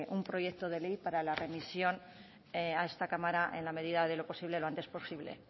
un proyecto de ley para la remisión a esta cámara en la medida de lo posible lo antes posible